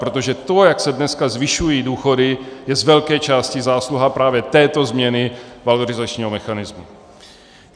Protože to, jak se dneska zvyšují důchody, je z velké části zásluha právě této změny valorizačního mechanismu.